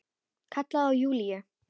Kallaði á Júlíu.